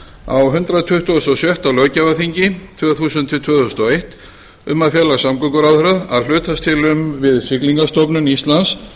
á hundrað tuttugasta og sjötta löggjafarþingi tvö þúsund til tvö þúsund og eitt um að fela samgönguráðherra að hlutast til um við siglingastofnun íslands